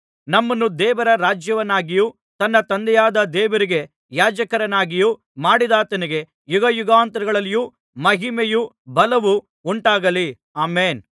ನಮ್ಮನ್ನು ದೇವರ ರಾಜ್ಯವನ್ನಾಗಿಯೂ ತನ್ನ ತಂದೆಯಾದ ದೇವರಿಗೆ ಯಾಜಕರನ್ನಾಗಿಯೂ ಮಾಡಿದಾತನಿಗೆ ಯುಗಯುಗಾಂತರಗಳಲ್ಲಿಯೂ ಮಹಿಮೆಯು ಬಲವು ಉಂಟಾಗಲಿ ಆಮೆನ್